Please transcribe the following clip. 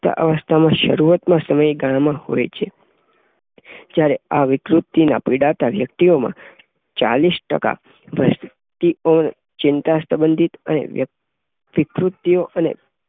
પુખ્તાવસ્થાના શરૂઆતના સમયગાળામાં હોય છે. જયારે આ વિકૃતિના પીડાતી વ્યક્તિઓમાંથી ચાલીસ ટકા વ્યક્તિઓ ચિંતાસંબંધી અને વિકૃત